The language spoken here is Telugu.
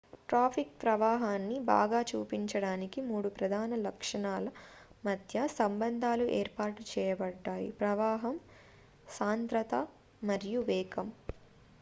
ట్రాఫిక్ ప్రవాహాన్ని బాగా చూపించడానికి మూడు ప్రధాన లక్షణాల మధ్య సంబంధాలు ఏర్పాటు చేయబడ్డాయి 1 ప్రవాహం 2 సాంద్రత మరియు 3 వేగం